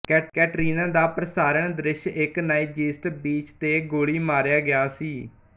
ਕੈਟਰੀਨਾ ਦਾ ਪ੍ਰਸਾਰਣ ਦ੍ਰਿਸ਼ ਇੱਕ ਨਾਈਜ਼ੀਸਟ ਬੀਚ ਤੇ ਗੋਲੀ ਮਾਰਿਆ ਗਿਆ ਸੀ